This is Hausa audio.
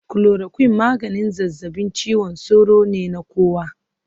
Chloroquine maganin zazzabin cizon sauro ne na kowa